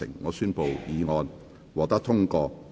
我宣布議案獲得通過。